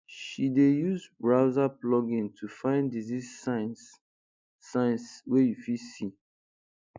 she dey use browser plugin to find disease signs signs wey you fit see